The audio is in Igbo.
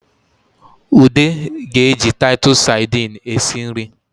Ude ga-eji tatụsụ sadini esi nri